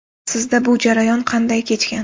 Sizda bu jarayon qanday kechgan?